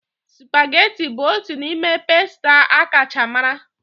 Supageti bụ otu n'ime pasta akacha mara.